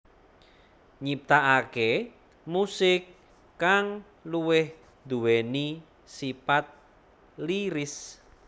Nyiptaaké musik kang luwih duwéni sipat lyris